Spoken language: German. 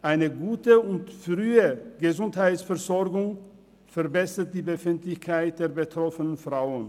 Eine gute und frühe Gesundheitsversorgung verbessert die Befindlichkeit der betroffenen Frauen.